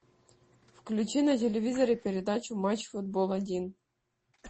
включи на телевизоре передачу матч футбол один